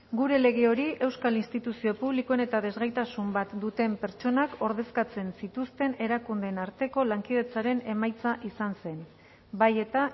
gure lege hori euskal instituzio publikoen eta desgaitasun bat duten pertsonak ordezkatzen zituzten erakundeen arteko lankidetzaren emaitza izan zen bai eta